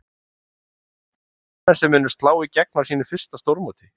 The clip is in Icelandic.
Eru þetta leikmenn sem munu slá í gegn á sínu fyrsta stórmóti?